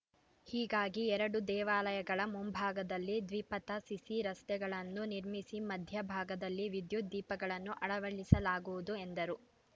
ಹೀಗಾಗಿ ಎರಡೂ ದೇವಾಲಯಗಳ ಮುಂಭಾಗದಲ್ಲಿ ದ್ವಿಪಥ ಸಿಸಿ ರಸ್ತೆಗಳನ್ನು ನಿರ್ಮಿಸಿ ಮಧ್ಯ ಭಾಗದಲ್ಲಿ ವಿದ್ಯುತ್‌ ದೀಪಗಳನ್ನು ಅಳವಳಿಸಲಾಗುವುದು ಎಂದರು